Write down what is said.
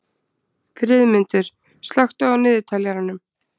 Friðmundur, slökktu á niðurteljaranum.